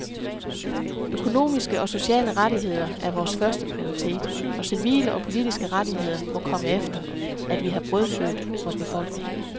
Økonomiske og sociale rettigheder er vores førsteprioritet, og civile og politiske rettigheder må komme efter, at vi har brødfødt vor befolkning.